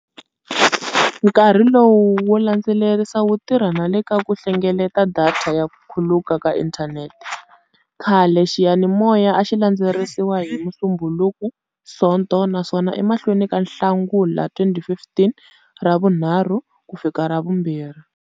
Nkarhi lowu wo landzelerisa wu tirha na le ka ku hlengeleta datha ya ku khuluka ka inthanete. Khale, xiyanimoya a xi landzelerisiwa hi Musumbhunuku-Sonto naswona, emahlweni ka Nhlangula 2015, Ravunharhu-Ravumbirhi.